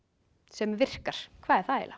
sem virkar hvað er það eiginlega